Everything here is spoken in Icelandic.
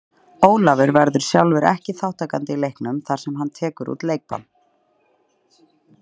Ólafur verður sjálfur ekki þátttakandi í leiknum þar sem hann tekur út leikbann.